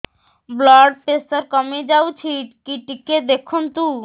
blood pressure କମି ଯାଉଛି କି ଟିକେ ଦେଖନ୍ତୁ